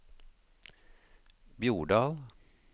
Bjordal